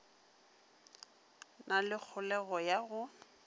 na le kholego ya go